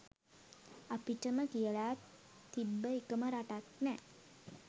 අපිටම කියල තිබ්බ එකම රටත් නෑ